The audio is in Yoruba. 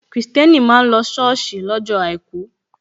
Kristẹni máa ń lọ si soosi lọ́jọ́ àìkú.